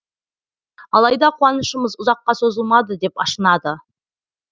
алайда қуанышымыз ұзаққа созылмады деп ашынады